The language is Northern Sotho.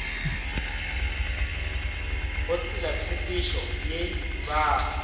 go tselatshepetšo ye ba a